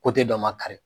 dɔ ma kari